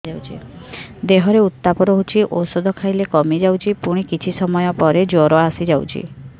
ଦେହର ଉତ୍ତାପ ରହୁଛି ଔଷଧ ଖାଇଲେ କମିଯାଉଛି ପୁଣି କିଛି ସମୟ ପରେ ଜ୍ୱର ଆସୁଛି